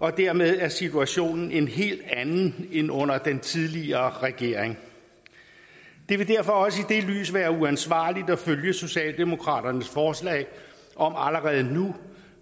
dermed er situationen en helt anden end under den tidligere regering det vil derfor også i det lys være uansvarligt at følge socialdemokraternes forslag om allerede nu